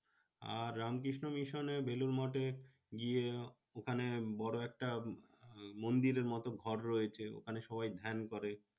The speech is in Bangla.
আর রামকৃষ্ণ মিশন এ বেলুড় মঠে গিয়ে ওখানে বড় একটা মন্দিরের মতন ঘর রয়েছে, ওখানে সবাই ধ্যান করে।